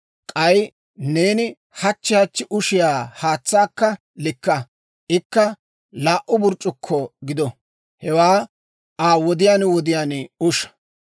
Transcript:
K'ay neeni hachchi hachchi ushiyaa haatsaakka likka; ikka laa"u burc'c'ukko gido; hewaa Aa wodiyaan wodiyaan usha.